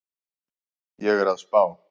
Ég er að spá.